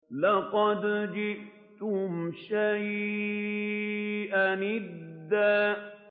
لَّقَدْ جِئْتُمْ شَيْئًا إِدًّا